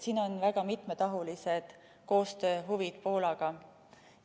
Siin on väga mitmetahulised koostööhuvid Poolaga.